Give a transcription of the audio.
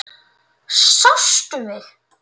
Sástu mig?